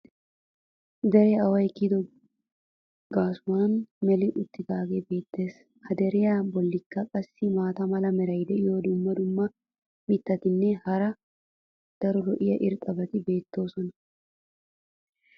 Deree away kiyido gaasuwan meli uttidaagee beetees. ha deriya bolikka qassi maata mala meray diyo dumma dumma mitatinne hara daro lo'iya irxxabati beetoosona.